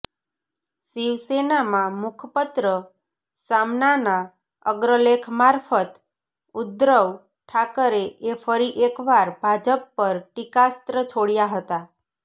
શિવસેનાના મુખપત્ર સામનાના અગ્રલેખ મારફત ઉદ્ધવ ઠાકરેએ ફરી એકવાર ભાજપ પર ટીકાસ્ત્ર છોડયા હતા